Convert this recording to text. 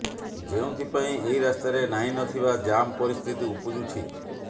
ଯେଉଁଥିପାଇଁ ଏହି ରାସ୍ତାରେ ନାହିଁ ନଥିବା ଜାମ୍ ପରିସ୍ଥିତି ଉପୁଜୁଛି